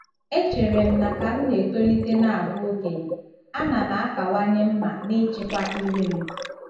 .Echere m na ka m na-etolite na abụ okenye, a na m akawanye mma n'ịchịkwa ire m.